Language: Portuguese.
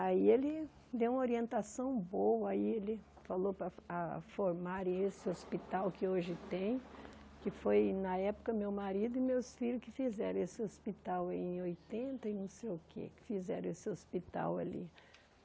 Aí ele deu uma orientação boa, aí ele falou para a formarem esse hospital que hoje tem, que foi, na época, meu marido e meus filhos que fizeram esse hospital em oitenta e não sei o quê, fizeram esse hospital ali.